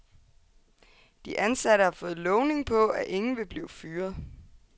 De ansatte har fået lovning på, at ingen vil blive fyret.